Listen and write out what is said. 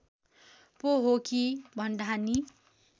पो हो कि भन्ठानी